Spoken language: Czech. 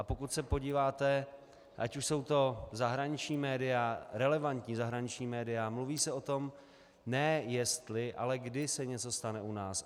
A pokud se podíváte, ať už jsou to zahraniční média, relevantní zahraniční média, mluví se o tom ne jestli, ale kdy se něco stane u nás.